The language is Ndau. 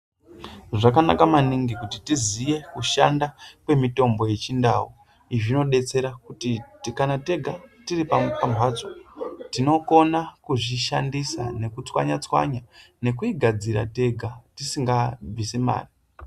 Zvakanaka maningi kuti tisive kushanda kwemitombo yechindau izvi zvinobatsira kuti kana tega tiripamhatso tinokona kuzvishandisa nekutswanya tswanya ngekuti tinenge tisingabvise mari.